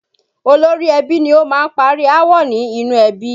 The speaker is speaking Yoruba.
Olórí ẹbí ni ó máa ń parí aáwọ̀ ní inú ẹbí